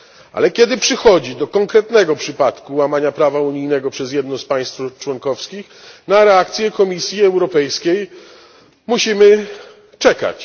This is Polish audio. Ale kiedy przychodzi do konkretnego przypadku łamania prawa unijnego przez jedno z państw członkowskich, na reakcję Komisji Europejskiej musimy czekać.